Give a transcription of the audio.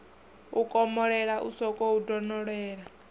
u komolela u sokou donolela